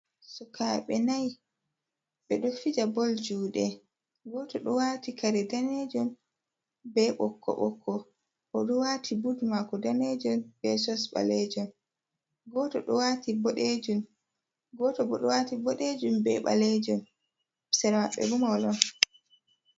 Sukaaɓe nayi, ɓe ɗo fija bol juuɗe, gooto ɗo waati kare daneejum, be ɓokko ɓokko, o ɗo waati bud maako daneejum, be sos ɓaleejum, gooto ɗo waati boɗeejum, gooto bo ɗo waati boɗeejum be ɓaleejum, sera maɓɓe mahol on.